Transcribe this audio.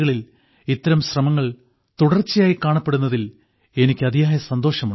കളിൽ ഇത്തരം ശ്രമങ്ങൾ തുടർച്ചയായി കാണപ്പെടുന്നതിൽ എനിക്ക് അതിയായ സന്തോഷമുണ്ട്